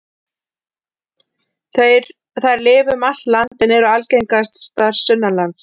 Þær lifa um allt land en eru algengastar sunnanlands.